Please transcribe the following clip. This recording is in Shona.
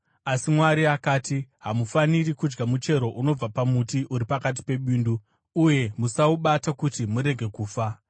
asi Mwari akati, ‘Hamufaniri kudya muchero unobva pamuti uri pakati pebindu, uye musaubata kuti murege kufa.’ ”